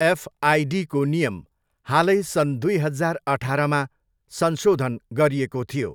एफआइडीको नियम हालै सन् दुई हजार अठारमा संशोधन गरिएको थियो।